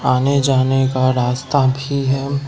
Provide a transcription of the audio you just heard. आने जाने का रास्ता भी है।